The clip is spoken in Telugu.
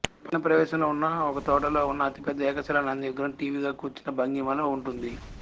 పట్టణ ప్రవేశంలో ఉన్న ఒక తోటలో ఉన్న అతిపెద్ద ఏకశిలా నంది విగ్రహం ఠీవిగా కూర్చున్న భంగిమలో ఉంటుంది